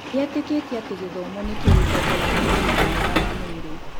Nĩ eetĩkĩtie atĩ gĩthomo nĩkĩo gĩtongoragia ũgima mwega wa mwĩrĩ.